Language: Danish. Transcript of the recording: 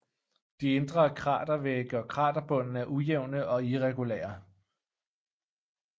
De indre kratervægge og kraterbunden er ujævne og irregulære